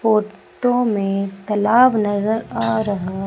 photo में तालाब नजर आ रहा--